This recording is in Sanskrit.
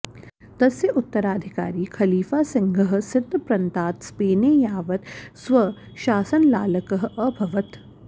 तस्य उत्तराधिकारि खलिफा सिंहः सिंध प्रन्तात् स्पेने यावत् स्वशासनलालकः अभवत्